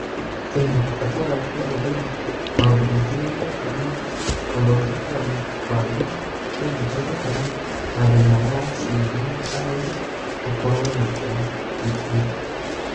Kenya, bata wa kũhũthĩra maũndũ matiganĩte na gũthondeka mũbango ũngĩhũthĩka na mathĩna ma aciari na arori gũkorwo na ũgitĩri.